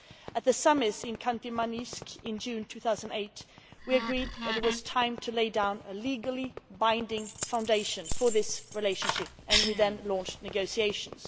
At the Summit in Khanti Mansiisk, in June 2008, we agreed that it was time to lay down legally binding foundations for this relationship and we then launched negotiations.